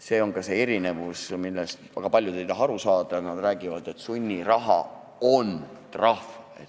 See on see erinevus, millest väga paljud ei taha aru saada, nad räägivad, et sunniraha on trahv.